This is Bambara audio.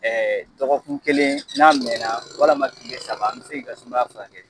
Ɛɛ dɔgɔkun kelen n'a mɛn na walama kile saba an be se k'i ka sumaya furakɛ.